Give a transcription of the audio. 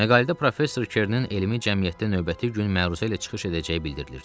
Məqalədə professor Kernin elmi cəmiyyətdə növbəti gün məruzə ilə çıxış edəcəyi bildirilirdi.